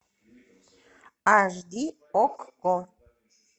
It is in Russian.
аш ди окко